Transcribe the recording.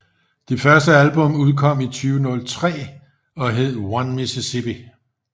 Det første album udkom i 2003 og hed One Mississippi